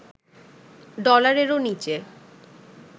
ডলারেরও নিচে